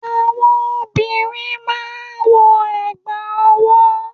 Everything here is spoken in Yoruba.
àwọn obìnrin máà ń wọ ẹ̀gbà ọwọ́.